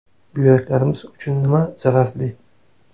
Buyraklarimiz uchun nima zararli?.